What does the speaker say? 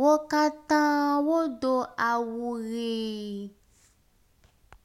wó katã wó do awu ɣii